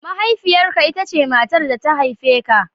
Mahaifiyarka, ita ce matar da ta haife ka